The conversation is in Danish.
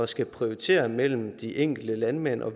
skal prioritere mellem de enkelte landmænd og